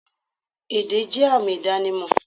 Èdè jẹ́ àmì ìdánimọ̀